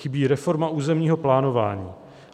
Chybí reforma územního plánování.